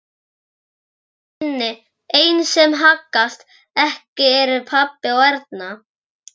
Einu sem haggast ekki eru pabbi og Erna.